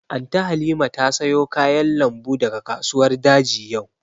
Anty Halima ta sayo kayan lambu daga kasuwar daji yau